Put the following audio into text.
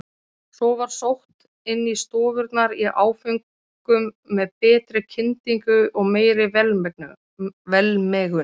Svo var sótt inn í stofurnar í áföngum með betri kyndingu og meiri velmegun.